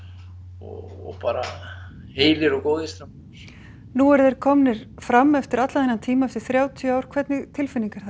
og bara heilir og góðir strákar nú eru þeir komnir fram eftir allan þennan tíma eftir þrjátíu ár hvernig tilfinning er það